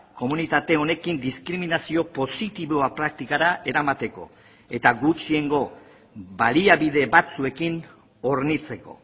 komunitate honekin diskriminazio positiboa praktikara eramateko eta gutxiengo baliabide batzuekin hornitzeko